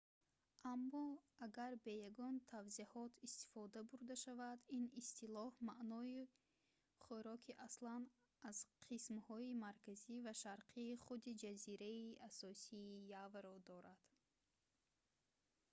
аммо агар бе ягон тавзеҳот истифода бурда шавад ин истилоҳ маънои хӯроки аслан аз қисмҳои марказӣ ва шарқии худи ҷазираи асосии яваро дорад